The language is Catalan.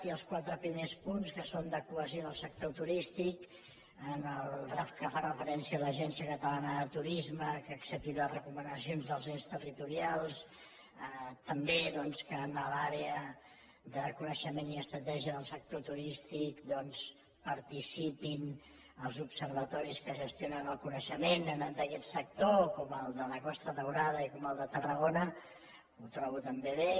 i els quatre primers punts que són de cohesió de sector turístic en el que fa referència a l’agència catalana de turisme que accepti les recomanacions dels ens territorials també doncs que en l’àrea de coneixement i estratègia del sector turístic hi participin els observatoris que gestionen el coneixement en nom d’aquest sector com el de la costa daurada i com el de tarragona ho trobo també bé